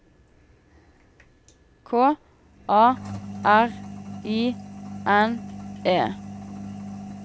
K A R I N E